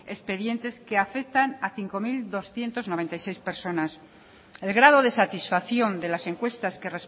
expedientes que afectan a cinco mil doscientos noventa y seis personas el grado de satisfacción de las encuestas